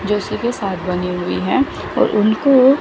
जोशी के साथ बनी हुई है और उनको--